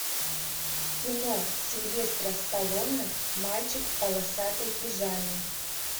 кино сильвестра сталлоне мальчик в полосатой пижаме